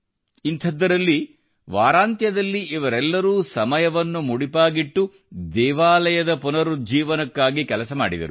ಇಂಥದ್ದರಲ್ಲಿ ವಾರಾಂತ್ಯದಲ್ಲಿ ಇವರೆಲ್ಲರೂ ಸಮಯವನ್ನು ಮುಡಿಪಾಗಿಟ್ಟು ದೇವಾಲಯಕ್ಕಾಗಿ ಕೆಲಸ ಮಾಡಿದರು